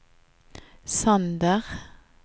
Sander